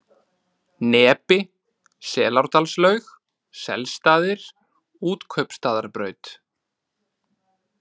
Nepi, Selárdalslaug, Selsstaðir, Útkaupstaðarbraut